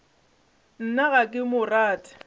nna ga ke mo rate